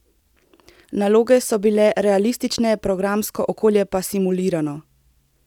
Naloge so bile realistične, programsko okolje pa simulirano.